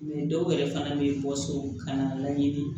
dɔw yɛrɛ fana bɛ bɔ so ka na laɲini